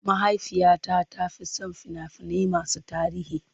Mahaifiyata ta fi son fina-finai masu tarihi.